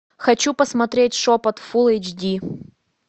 хочу посмотреть шепот фул эйч ди